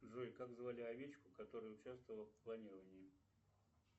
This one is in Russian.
джой как звали овечку которая участвовала в клонировании